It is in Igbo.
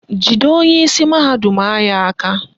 Jide onyeisi mahadum anyị aka!